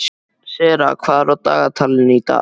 Sera, hvað er á dagatalinu í dag?